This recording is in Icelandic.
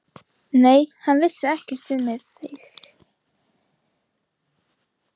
Nei, hann vissi ekkert um þig.